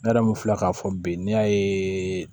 Ne yɛrɛ kun filɛ k'a fɔ bi ne y'a ye